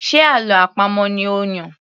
Ṣe àlọ́ àpamọ̀ ni ó Yàn?